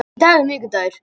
Í dag er miðvikudagur.